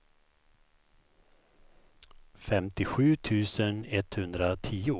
femtiosju tusen etthundratio